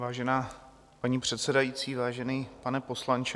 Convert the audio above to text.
Vážená paní předsedající, vážený pane poslanče.